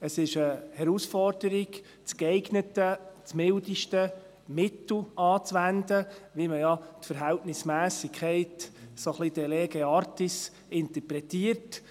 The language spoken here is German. Es ist eine Herausforderung, das geeignete, das mildeste Mittel anzuwenden, so wie man ja die Verhältnismässigkeit ein wenig de lege artis interpretiert.